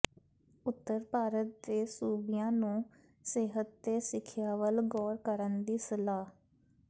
ਉਤਰ ਭਾਰਤ ਦੇ ਸੂਬਿਆਂ ਨੂੰ ਸਿਹਤ ਤੇ ਸਿੱਖਿਆ ਵੱਲ ਗੌਰ ਕਰਨ ਦੀ ਸਲਾਹ